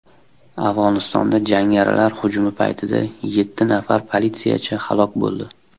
Afg‘onistonda jangarilar hujumi paytida yetti nafar politsiyachi halok bo‘ldi.